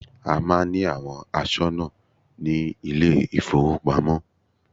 A máà ń ní àwọn aṣọ́nà ní ilé ìfọwọ́pamo.